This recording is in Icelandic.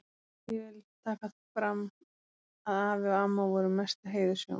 Ég vil taka fram að afi og amma voru mestu heiðurshjón.